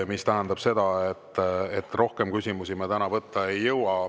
See tähendab seda, et rohkem küsimusi me täna võtta ei jõua.